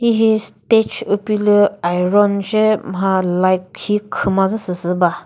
hihi stage upilü iron shi mha light khi khümazü süsü ba.